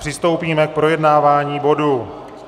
Přistoupíme k projednávání bodu